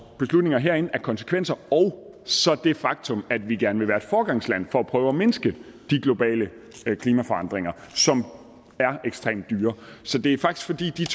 beslutninger herinde har af konsekvenser og så det faktum at vi gerne vil være et foregangsland for at prøve at mindske de globale klimaforandringer som er ekstremt dyre så det er faktisk